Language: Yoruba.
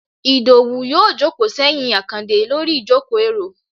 idowú yóò jòkó seyín akande Lori ìjokó- eró